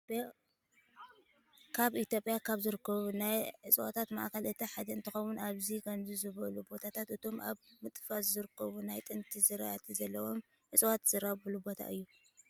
ኣብ ኢትዮጵያ ካብ ዝርከቡ ናይ ዕፀዋት ማዕከላት አቲ ሓደ እንትኸውን ኣብዚ ከምዚ ዝበሉ ቦታታት እቶም ኣብ ምጥፋእ ዝርከቡ ናይ ጥንቲ ዝራእቲ ዘለዎም ዕፀዋት ዝራብሑሉ ቦታ እዩ።